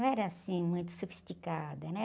Não era assim, muito sofisticada, né?